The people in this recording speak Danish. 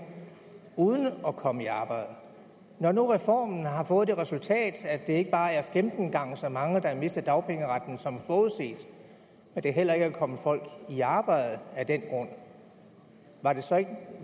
uden at komme i arbejde når nu reformen har fået det resultat at det ikke bare er femten gange så mange der har mistet dagpengeretten som forudset og der heller ikke er kommet folk i arbejde af den grund var det så ikke